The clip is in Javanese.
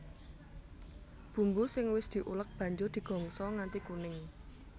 Bumbu sing wis diulek banjur digongso nganti kuning